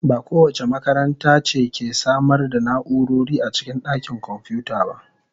Ba kowace makaranta ce ke samar da na'urori a cikin dakin kwamfuta ba.